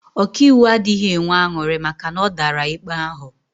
Ọkaiwu adịghị enwe aṅụrị maka na ọ dara ikpe ahụ